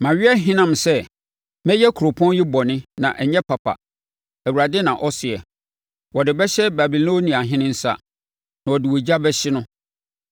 Mawe ahinam sɛ, mɛyɛ kuropɔn yi bɔne na ɛnyɛ papa, Awurade na ɔseɛ. Wɔde bɛhyɛ Babiloniahene nsa, na ɔde ogya bɛhye no.’